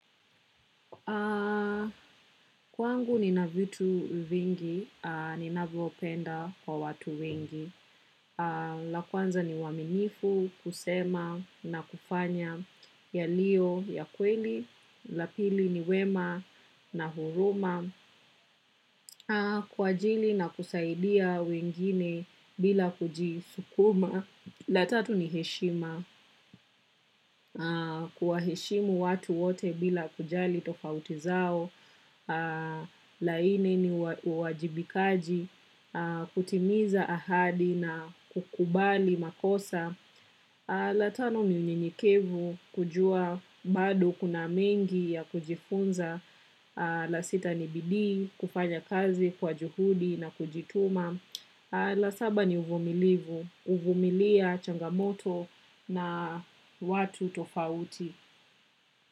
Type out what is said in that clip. Kwangu ni na vitu vingi, ninavyopenda kwa watu wengi, la kwanza ni uaminifu kusema na kufanya yalio ya kweli, la pili ni wema na huruma, kwa ajili inakusaidia wengine bila kujisukuma. La tatu ni heshima, kuwa heshimu watu wote bila kujali tofauti zao, la nne ni uajibikaji, kutimiza ahadi na kukubali makosa. La tano ni unyenyekevu kujua bado kuna mengi ya kujifunza. La sita ni bidii kufanya kazi kwa juhudi na kujituma. La saba ni uvumilivu, huvumilia changamoto na watu tofauti.